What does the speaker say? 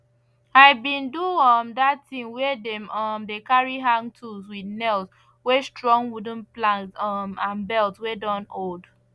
i bin do um that thing where dem um dey carry hang tools with nails wey strong wooden plank um and belt wey don old